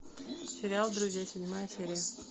сериал друзья седьмая серия